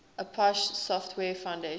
apache software foundation